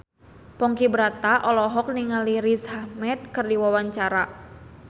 Ponky Brata olohok ningali Riz Ahmed keur diwawancara